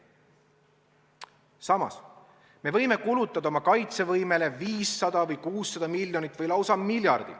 Samas me võime kulutada oma kaitsevõimele 500 või 600 miljonit või lausa miljardi.